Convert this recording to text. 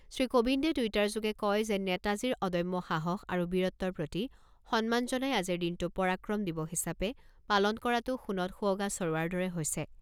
শ্ৰীকোবিন্দে টুইটাৰযোগে কয় যে নেতাজীৰ অদম্য সাহস আৰু বীৰত্বৰ প্ৰতি সন্মান জনাই আজিৰ দিনটো পৰাক্ৰম দিৱস হিচাপে পালন কৰাটো সোণত সুৱগা চৰোৱাৰ দৰে হৈছে।